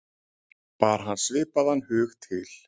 Bar hann svipaðan hug til